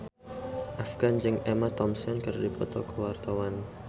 Afgan jeung Emma Thompson keur dipoto ku wartawan